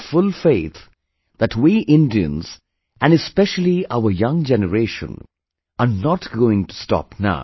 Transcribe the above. I have full faith that we Indians and especially our young generation are not going to stop now